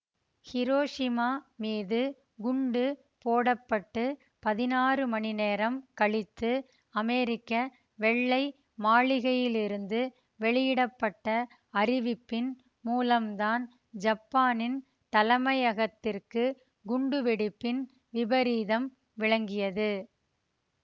Hiroshima மீது குண்டு போட பட்டு பதினாறு மணிநேரம் கழித்து அமெரிக்க வெள்ளை மாளிகையிலிருந்து வெளியிட பட்ட அறிவிப்பின் மூலம்தான் ஜப்பானின் தலைமையகத்திற்கு குண்டு வெடிப்பின் விபரீதம் விளங்கியது